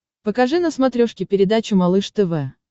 покажи на смотрешке передачу малыш тв